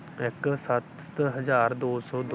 ਇੱਕ ਸੱਤ ਹਜ਼ਾਰ ਦੋ ਸੌ